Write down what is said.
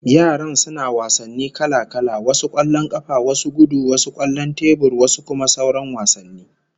Yaran suna wasanni kala-kala, wasu kwallon kafa, wasu gudu, wasu kwallon tebur, wasu kuma sauran wasanni